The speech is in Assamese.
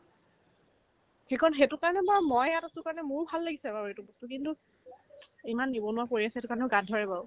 শেষত সেইটোৰ পৰা নহয় মই মই আৰু সেইটোৰ কাৰণে মোৰো ভাল লাগিছে আৰু আৰু সেইটো বস্তু কিন্তু ইমান নিবনুৱা পৰি আছে সেইটোৰ কাৰণেও গাত ধৰে বাৰু